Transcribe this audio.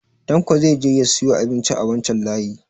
Tanko zai je ya siyo abinci a wancan layi